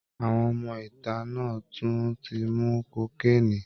Àwọn ọmọ ìta náà tún ti ń mu kokéènì